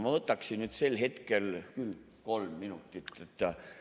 Ma võtaksin sel hetkel küll kolm minutit.